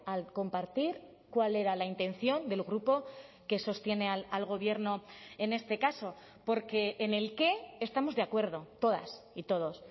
al compartir cuál era la intención del grupo que sostiene al gobierno en este caso porque en el qué estamos de acuerdo todas y todos